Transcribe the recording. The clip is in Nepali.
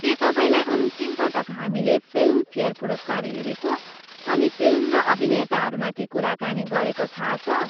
के तपाईँलाई अन्तिम पटक हामीले फिल्मफेयर पुरस्कार हेरेको अनि फिल्म र अभिनेताहरूमाथि कुराकानी गरेको थाहा छ?